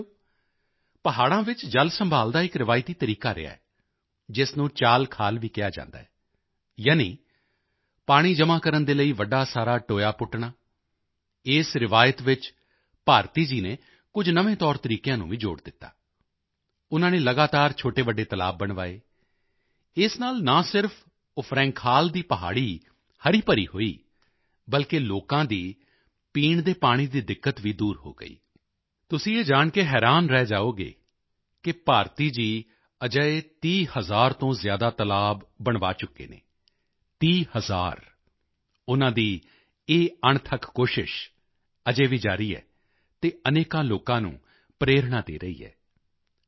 ਸਾਥੀਓ ਪਹਾੜਾਂ ਵਿੱਚ ਜਲ ਸੰਭਾਲ਼ ਦਾ ਇਕ ਰਿਵਾਇਤੀ ਤਰੀਕਾ ਰਿਹਾ ਹੈ ਜਿਸ ਨੂੰ ਚਾਲਖਾਲ ਵੀ ਕਿਹਾ ਜਾਂਦਾ ਹੈ ਯਾਨੀ ਪਾਣੀ ਜਮ੍ਹਾਂ ਕਰਨ ਦੇ ਲਈ ਵੱਡਾ ਸਾਰਾ ਟੋਇਆ ਪੁੱਟਣਾ ਇਸ ਰਵਾਇਤ ਵਿੱਚ ਭਾਰਤੀ ਜੀ ਨੇ ਕੁਝ ਨਵੇਂ ਤੌਰਤਰੀਕਿਆਂ ਨੂੰ ਵੀ ਜੋੜ ਦਿੱਤਾ ਉਨ੍ਹਾਂ ਨੇ ਲਗਾਤਾਰ ਛੋਟੇਵੱਡੇ ਤਲਾਬ ਬਣਵਾਏ ਇਸ ਨਾਲ ਨਾ ਸਿਰਫ ਉਫਰੈਂਖਾਲ ਦੀ ਪਹਾੜੀ ਹਰੀਭਰੀ ਹੋਈ ਬਲਕਿ ਲੋਕਾਂ ਦੀ ਪੀਣ ਦੇ ਪਾਣੀ ਦੀ ਦਿੱਕਤ ਵੀ ਦੂਰ ਹੋ ਗਈ ਤੁਸੀਂ ਇਹ ਜਾਣ ਕੇ ਹੈਰਾਨ ਰਹਿ ਜਾਓਗੇ ਕਿ ਭਾਰਤੀ ਜੀ ਅਜਿਹੇ 30 ਹਜ਼ਾਰ ਤੋਂ ਜ਼ਿਆਦਾ ਤਲਾਬ ਬਣਵਾ ਚੁੱਕੇ ਹਨ 30000 ਉਨ੍ਹਾਂ ਦੀ ਇਹ ਅਣਥੱਕ ਕੋਸ਼ਿਸ਼ ਅਜੇ ਵੀ ਜਾਰੀ ਹੈ ਅਤੇ ਅਨੇਕਾਂ ਲੋਕਾਂ ਨੂੰ ਪ੍ਰੇਰਣਾ ਦੇ ਰਹੀ ਹੈ